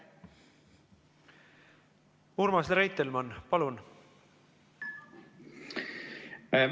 Urmas Reitelmann, palun!